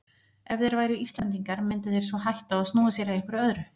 Ef þeir væru Íslendingar myndu þeir svo hætta og snúa sér að einhverju öðru.